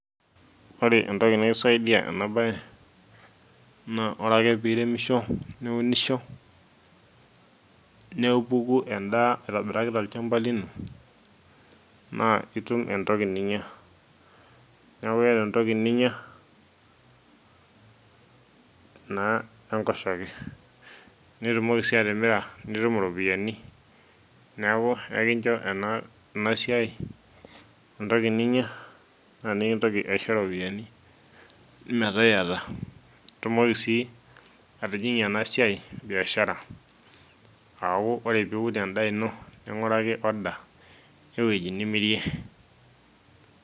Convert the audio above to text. ore entoki nikisaidia ena baye naa ore ake piremisho niunisho nepuku endaa aitobiraki tolchamba lino naa itum entoki ninyia niaku iyata entoki ninyia naa enkoshoke nitumoki sii atimira nitum iropiyiani neku ekincho enasiai entoki ninyia naa nikintoki aisho iropiyiani metaa iyata itumoki sii atijing'ie ena siai biashara aaku ore piun endaa ino ning'uraki order ewueji nimirie.